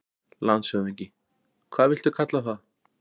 LANDSHÖFÐINGI: Hvað viltu kalla það?